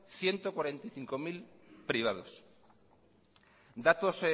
ciento cuarenta y cinco mil privados datos